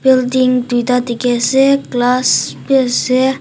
duita dikhi ase class bhi ase.